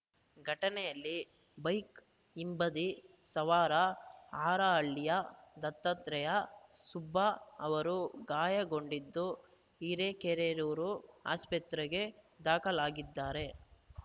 ಘಟನೆಯಲ್ಲಿ ಬೈಕ್‌ ಹಿಂಬದಿ ಸವಾರ ಹಾರಾಹಳ್ಳಿಯ ದತ್ತಾತ್ರೆಯ ಸುಬ್ಬ ಅವರು ಗಾಯಗೊಂಡಿದ್ದು ಹಿರೇಕೆರೂರು ಆಸ್ಪತ್ರೆಗೆ ದಾಖಲಾಗಿದ್ದಾರೆ